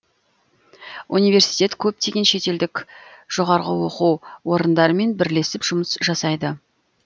университет көптеген шетелдік жоғарғы оқу орындармен бірлесіп жұмыс жасайды